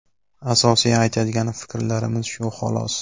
Asosiy aytadigan fikrlarimiz shu xolos.